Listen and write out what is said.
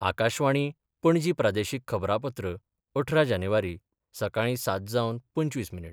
आकाशवाणी, पणजी प्रादेशीक खबरांपत्र अठरा जानेवारी, सकाळी सात जावन पंचवीस मिनीट